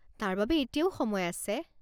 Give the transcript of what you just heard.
তাৰ বাবে এতিয়াও সময় আছে।